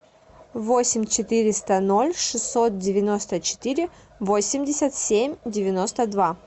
восемь четыреста ноль шестьсот девяносто четыре восемьдесят семь девяносто два